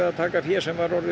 að taka fé sem var orðið